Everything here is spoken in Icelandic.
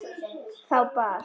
Þá bar